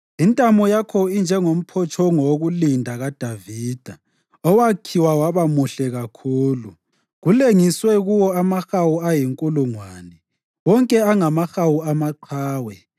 Intamo yakho injengomphotshongo wokulinda kaDavida, owakhiwa waba muhle kakhulu; kulengiswe kuwo amahawu ayinkulungwane, wonke angamahawu amaqhawe.